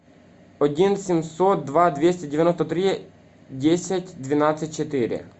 один семьсот два двести девяносто три десять двенадцать четыре